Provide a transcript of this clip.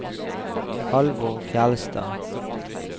Halvor Fjellstad